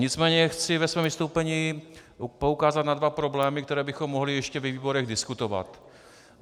Nicméně chci ve svém vystoupení poukázat na dva problémy, které bychom mohli ještě ve výborech diskutovat.